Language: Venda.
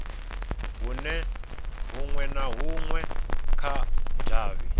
hunwe na hunwe kha davhi